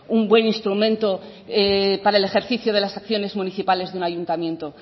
un buen instrumento para el ejercicio de las acciones municipales de un ayuntamiento